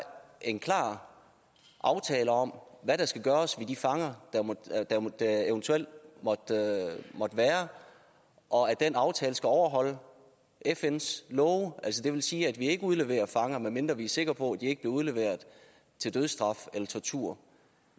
en klar aftale om hvad der skal gøres med de fanger der eventuelt måtte være og at den aftale skal overholde fns love altså det vil sige at vi ikke udleverer fanger medmindre vi er sikre på at de ikke bliver udleveret til dødsstraf eller tortur